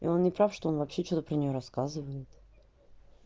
и он не прав что он вообще что-то про неё рассказывает